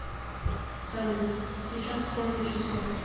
салют сейчас сколько часов